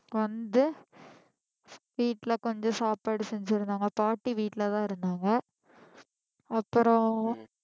வந்து வீட்ல கொஞ்சம் சாப்பாடு செஞ்சு இருந்தாங்க பாட்டி வீட்டுலதான் இருந்தாங்க அப்புறம்